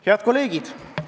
Head kolleegid!